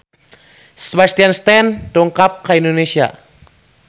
Sebastian Stan dongkap ka Indonesia